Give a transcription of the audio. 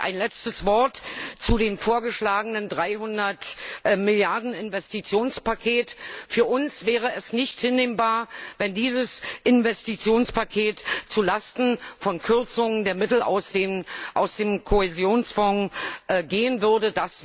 Ein letztes Wort zu dem vorgeschlagenen 300 Milliarden Investitionspaket Für uns wäre es nicht hinnehmbar, wenn dieses Investitionspaket zu Lasten der Mittel aus dem Kohäsionsfonds gehen würde.